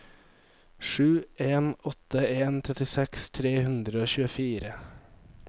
sju en åtte en trettiseks tre hundre og tjuefire